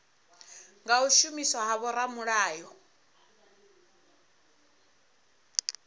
nga u shumiswa ha vhoramilayo